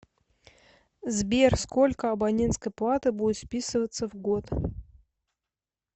сбер сколько абонентской платы будет списываться в год